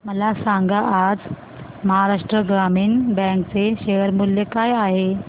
मला सांगा आज महाराष्ट्र ग्रामीण बँक चे शेअर मूल्य काय आहे